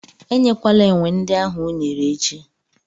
E nyekwala enwe ndị ahụ unere echi!